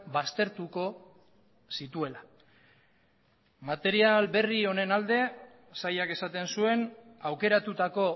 baztertuko zituela material berri honen alde sailak esaten zuen aukeratutako